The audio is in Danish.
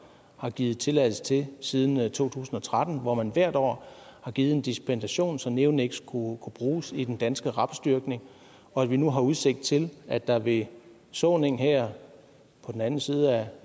har givet tilladelse til siden to tusind og tretten hvor man hvert år har givet en dispensation så neoniks kunne bruges i den danske rapsdyrkning og at vi nu har udsigt til at der ved såningen her på den anden side af